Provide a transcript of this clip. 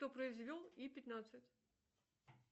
кто произвел и пятнадцать